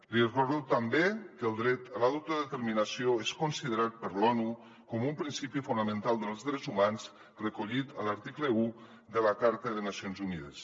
li recordo també que el dret a l’autodeterminació és considerat per l’onu com un principi fonamental dels drets humans recollit a l’article un de la carta de nacions unides